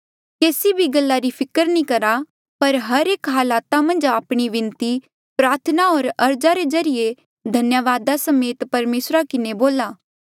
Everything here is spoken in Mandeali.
केसी भी गल्ला री फिकर नी करा पर हर एक हालात मन्झ आपणी विनती प्रार्थना होर अर्ज रे ज्रीए धन्यावादा समेत परमेसरा किन्हें बोल्हा